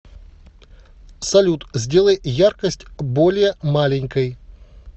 салют сделай яркость более маленькой